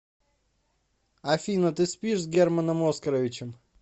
афина ты спишь с германом оскаровичем